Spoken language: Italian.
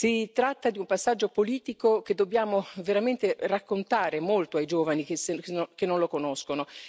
Si tratta di un passaggio politico, che dobbiamo veramente raccontare ai giovani che non lo conoscono.